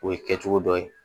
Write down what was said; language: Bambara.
O ye kɛ cogo dɔ ye